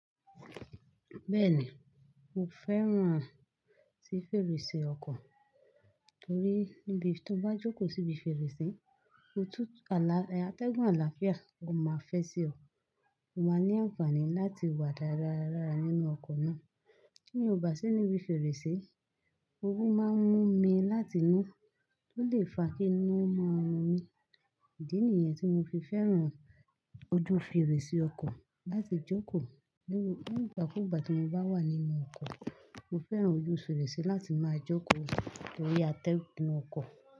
Bẹ́ẹ̀ ni, mo fẹ́ràn àti fèrèsé ọkọ̀ torí tí mo bá jókòó síbi fèrèsé, òtútù alátẹ́gùn àlàáfíà máa fẹ́ sí ọ, mo máa ní àǹfààní láti wà dáradára nínú ọkọ̀ náà. Kíni mo bá sí níbi fèrèsé, oru máa ń mú mi láti inú tó lè fa kí inu máa run mi. Ìdí nìyẹn tí mo fi fẹ́ràn ojú fèrèsé ọkọ̀ láti jókòó. Nígbà kúùgbà tí mo bá wà nínú ọkọ̀, mo fẹ́ràn ojú fèrèsé láti máa jókòó torí atẹ́gùn ọkọ̀